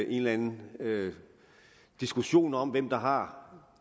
en eller anden diskussion om hvem der har